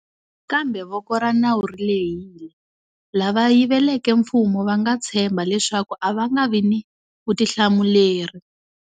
Kambe voko ra nawu ri lehile. Lava yiveleke mfumo va nga tshemba leswaku a va nga vi ni vutihlamuleri.